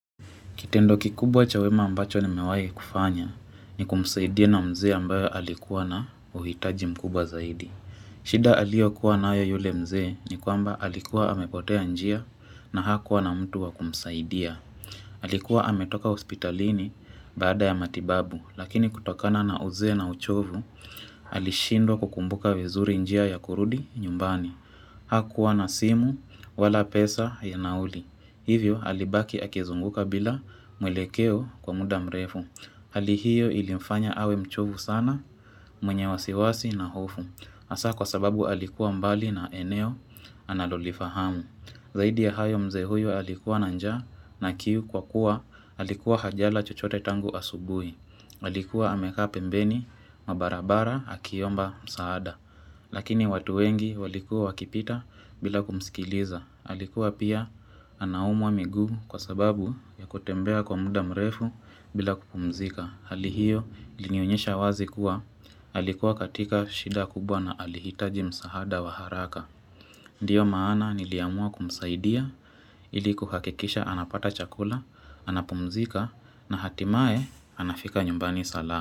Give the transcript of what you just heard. Kitendo kikubwa cha wema ambacho nimewahi kufanya ni kumsaidia na mzee ambayo alikuwa na uhitaji mkubwa zaidi. Shida aliyo kuwa nayo yule mzee ni kamba alikuwa amepotea njia na hakuwa na mtu wa kumsaidia. Alikuwa ametoka hospitalini baada ya matibabu lakini kutokana na uzee na uchovu alishindwa kukumbuka vizuri njia ya kurudi nyumbani. Hakuwa na simu wala pesa ya nauli. Hivyo alibaki akizunguka bila mwelekeo kwa muda mrefu. Hali hiyo ilimfanya awe mchovu sana mwenye wasiwasi na hofu. Hasa kwa sababu alikuwa mbali na eneo analolifahamu. Zaidi ya hayo mzee huyo alikuwa na njaa na kiu kwa kuwa alikuwa hajala chochote tangu asubuhi Alikuwa amekaa pembeni mwa barabara akiomba msaada Lakini watu wengi walikuwa wakipita bila kumsikiliza Alikuwa pia anaumwa miguu kwa sababu ya kutembea kwa muda mrefu bila kupumzika Hali hio ilinionyesha wazi kuwa alikuwa katika shida kubwa na alihitaji msaada wa haraka Ndiyo maana niliamua kumsaidia ili kuhakikisha anapata chakula, anapumzika na hatimaye anafika nyumbani salama.